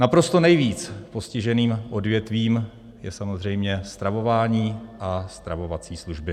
Naprosto nejvíc postiženým odvětvím je samozřejmě stravování a stravovací služby.